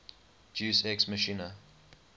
deus ex machina